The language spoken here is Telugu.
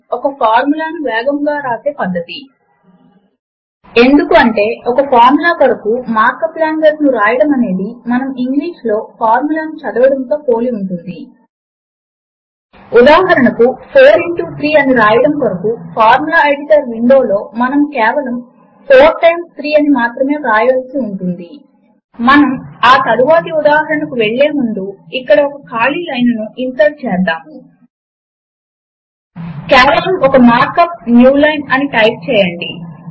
విండోస్ కొరకు మైక్రోసాఫ్ట్ విండోస్ 2000 సర్వీస్ పాక్ 4 లేదా హైయ్యర్ ఎక్స్పీ విస్తా లేదా విండోస్ 7 మీకు అవసరము అవుతుంది పెంటియం తో పని చేయగలిగిన 256 ఎంబీ రామ్ 512 ఎంబీ రామ్ ఉంటే మంచిది అని సూచించబడుతుంది ఉబుంటూ లినక్స్ కొరకు160 లినక్స్ కెర్నెల్ వెర్షన్ 2618 లేదా హైయ్యర్ పెంటియం తో పని చేయగలిగిన పీసీ 512 ఎంబీ రామ్ అని సూచించబడుతుంది లిబ్రేఆఫీస్ సూట్ ను ఇన్స్టాల్ చేసుకోవడము కొరకు దాని అధికారిక వెబ్ సైట్ httpwwwlibreofficeorg ను చూడండి